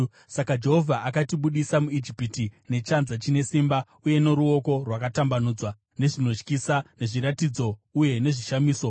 Saka Jehovha akatibudisa muIjipiti nechanza chine simba uye noruoko rwakatambanudzwa, nezvinotyisa, nezviratidzo uye nezvishamiso.